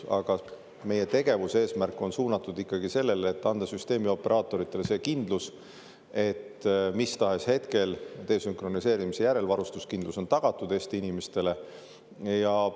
Aga meie tegevuse eesmärk on suunatud ikkagi sellele, et anda süsteemioperaatoritele see kindlus, et mis tahes hetkel desünkroniseerimise järel on varustuskindlus Eesti inimestele tagatud.